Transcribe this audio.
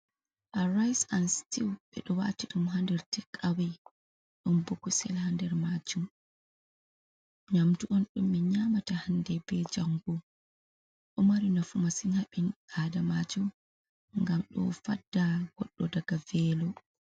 A rice and stew ɓeɗo wati ɗum ha nder tek awe. Ɗon bo kusel ha nder majum. Nyamdu on ɗum ɓe nyamata hande be jango ɗo mari nafu masin ha ɓi Adamajo ngam ɗo fadda goɗɗo daga velo.